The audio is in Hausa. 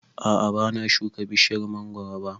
A'a ban shuka bishiyar mangoro ba